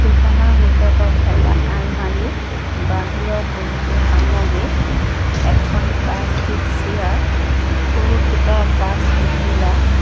দোকানৰ ভিতৰত এটা আলমাৰি বাহিৰত বহুতো সামগ্ৰী এখন প্লাষ্টিক চিয়াৰ বহুকিটা প্লাষ্টিক গিলাছ--